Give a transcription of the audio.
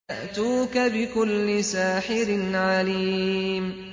يَأْتُوكَ بِكُلِّ سَاحِرٍ عَلِيمٍ